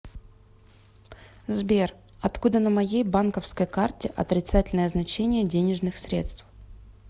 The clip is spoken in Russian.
сбер откуда на моей банковской карте отрицательное значение денежных средств